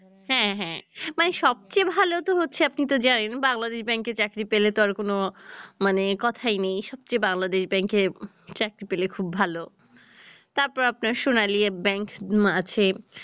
হ্যাঁ হ্যাঁ মানে সবচেয়ে ভাল তো হচ্ছে আপনি তো জানেন বাংলাদেশ ব্যাংকে চাকরি পেলে তো আর কোনো মানে কথাই নেই, সবচেয়ে বাংলাদেশ ব্যাংকে চাকরি পেলে খুব ভাল, তারপর আপনার সোনালী ব্যাংক আছে